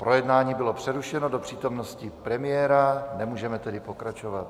Projednávání bylo přerušeno do přítomnosti premiéra, nemůžeme tedy pokračovat.